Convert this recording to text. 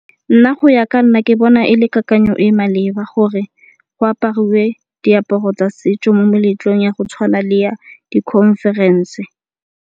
Nna go ya ka nna ke bona e le kakanyo e maleba gore go apariwe diaparo tsa setso mo meletlong ya go tshwana le ya di-conference.